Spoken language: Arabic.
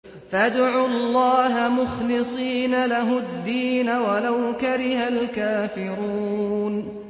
فَادْعُوا اللَّهَ مُخْلِصِينَ لَهُ الدِّينَ وَلَوْ كَرِهَ الْكَافِرُونَ